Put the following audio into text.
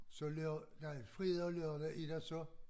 Så nej fredag og lørdag er der så